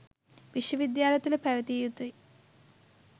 විශ්ව විද්‍යාල තුළ පැවතිය යුතුයි.